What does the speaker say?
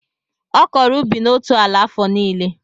Ọ kọrọ ubi na otu ala afọ nílé